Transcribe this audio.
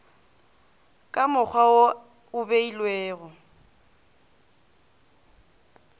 ka mokgwa wo o beilwego